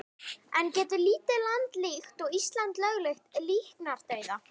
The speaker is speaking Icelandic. En getur lítið land líkt og Ísland lögleitt líknardauða?